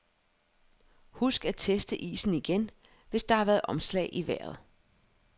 Husk at teste isen igen, hvis der har været omslag i vejret.